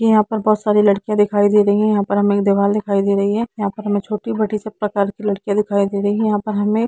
यहां पे बहुत सारी लड्किया दिखाई दे रही है यहा पर हमे एक दिवाल दिखाई दे रही है यहा पर हमे छोटी बडी सब प्रकार की लड्किया दिखाई दे रही है यहां पे हमे --